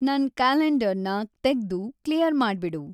ನನ್‌ ಕ್ಯಾಲೆಂಡರ್‌ನ ತೆಗ್ದು ಕ್ಲಿಯರ್‌ ಮಾಡ್ಬಿಡು